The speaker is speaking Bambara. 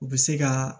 U bɛ se ka